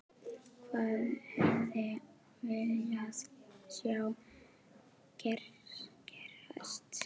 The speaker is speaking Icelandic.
Sólveig: Hvað hefði viljað sjá gerast?